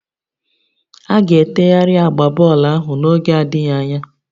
A ga-etegharị agba bọọlụ ahụ n'oge adịghị anya